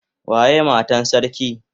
Waye Matan sarki?